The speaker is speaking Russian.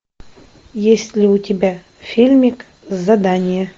есть ли у тебя фильмик задание